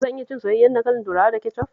Zan iya cin soyayyen dankalin turawa da kecof?